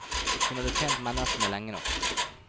Hun hadde tjent menneskene lenge nok.